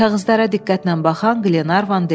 Kağızlara diqqətlə baxan Qlenarvan dedi: